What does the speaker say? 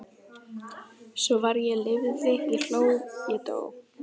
Svo var ég lifði ég hló ég dó